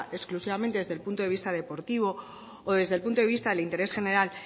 exclusivamente desde el punto de vista deportivo o desde el punto de vista del interés general